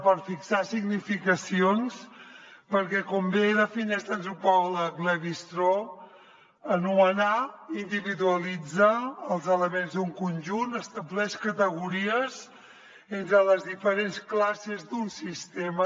per fixar significacions perquè com bé defineix l’antropòleg lévi strauss anomenar individualitzar els elements d’un conjunt estableix categories entre les diferents classes d’un sistema